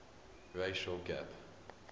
racial gap